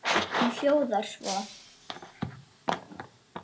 Hún hljóðar svo